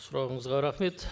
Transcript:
сұрағыңызға рахмет